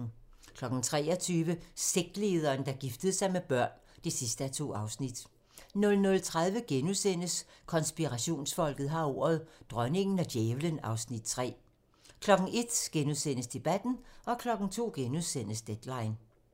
23:00: Sektlederen, der giftede sig med børn (2:2) 00:30: Konspirationsfolket har ordet - Dronningen og djævlen (Afs. 3)* 01:00: Debatten * 02:00: Deadline *